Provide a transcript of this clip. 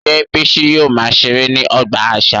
Ṣé Bisi yóò máa ṣeré ní ọgbà àṣà?